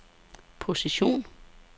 position